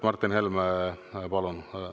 Martin Helme, palun!